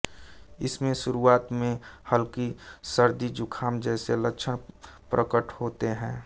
इसमें शुरुआत में हल्की सर्दीजुकाम जैसे लक्षण प्रकट होते हैं